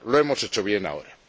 lo hemos hecho bien ahora.